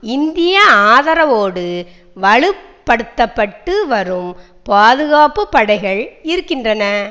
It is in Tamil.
இந்திய ஆதரவோடு வலுப்படுத்தப்பட்டுவரும் பாதுகாப்பு படைகள் இருக்கின்றன